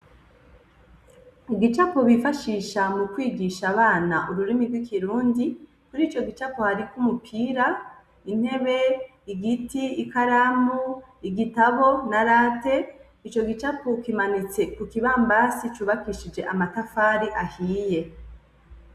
Igicapo bifashisha mukwigisha abana ururimi rw'ikirundi. Muri ico gicapo hariko umupira, intebe, igiti, ikaramu, igitabu na rate. Ico gicapo kimanitse ku kibambasi cubakishije amatafari ahiye.